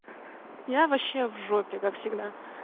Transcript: я вообще в жопе как всегда